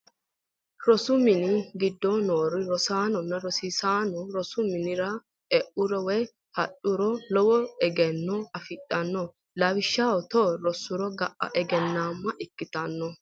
Rosu mini gidooni noo rosaano, rosaanno rosu minira e'uro woyi hadhuro lowo eggeno afidhano lawishaho tewo rose ga'a egge'nama ikkitano